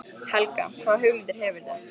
Helga: Hvaða hugmyndir hefurðu?